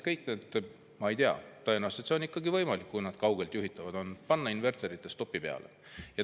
Tõenäoliselt see on ikkagi võimalik, kui nad kaugeltjuhitavad on, saab panna inverterid seisma.